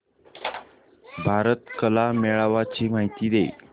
भारत कला मेळावा ची माहिती दे